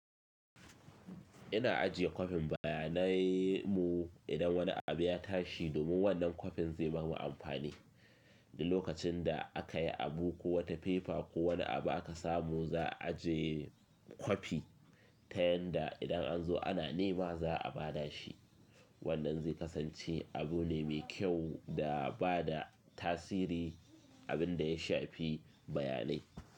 Ina ajiye kwafin bayanai mu idan wani abu ya tashi domin wannan kwafin zai bamu amfani. Duk lokacin da aka yi abu ko wata fefa ko wani abu aka samu, za'a ajiye kwafi ta yanda idan an zo ana nema za'a ba da shi. Wannan zai kasance abu ne mai kyau da ba da tasiri abin da ya shafi bayanai.